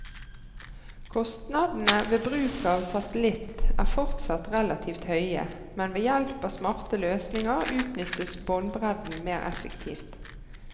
Kostnadene ved bruk av satellitt er fortsatt relativt høye, men ved hjelp av smarte løsninger utnyttes båndbredden mer effektivt.